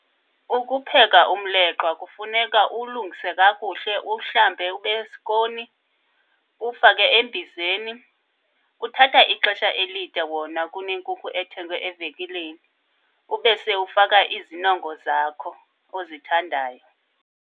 Ukupheka umleqwa kufuneka uwulungise kakuhle, uwuhlambe ube sikoni, uwufake embizeni. Kuthatha ixesha elide wona kunenkukhu ethengwe evenkileni, ube sewufaka izinongo zakho ozithandayo.